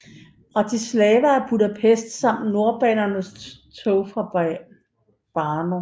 Bratislava og Budapest samt nordbanens tog fra Brno